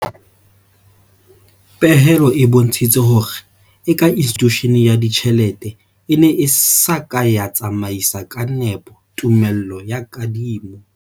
Pehelo e bontshitse hore eka institushene ya ditjhelete e ne e sa ka ya tsamaisa ka nepo tumellano ya kadimo.